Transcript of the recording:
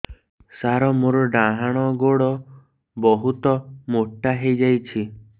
ସାର ମୋର ଡାହାଣ ଗୋଡୋ ବହୁତ ମୋଟା ହେଇଯାଇଛି